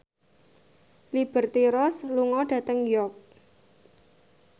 Liberty Ross lunga dhateng York